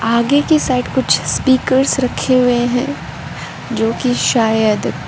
आगे के साइड कुछ स्पीकर रखे हुए हैं जो कि शायद --